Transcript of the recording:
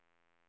S